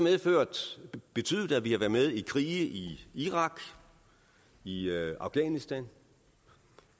betydet at vi har været med i krige i irak i i afghanistan